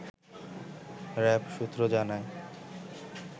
RAB সূত্র জানায়